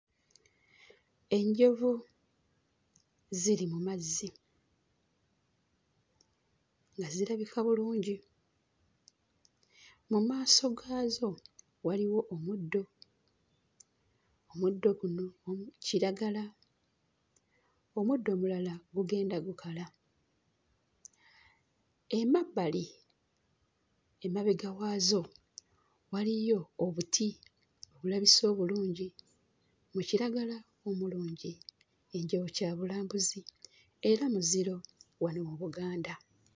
Enjovu ziri mu mazzi nga zirabika bulungi. Mu maaso gaazo waliwo omuddo, omuddo guno gulimu kiragala, omuddo omulala gugenda gukala. Emabbali emabega waazo waliyo obuti obulabise obulungi mu kiragala omulungi. Enjovu kya bulambuzi era muziro wano mu Buganda.